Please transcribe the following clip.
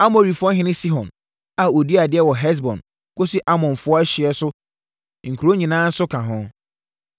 Amorifoɔhene Sihon a ɔdii adeɛ wɔ Hesbon kɔsi Amonfoɔ ɛhyeɛ so nkuro nyinaa nso ka ho.